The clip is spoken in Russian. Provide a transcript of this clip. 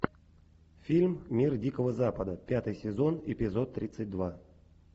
фильм мир дикого запада пятый сезон эпизод тридцать два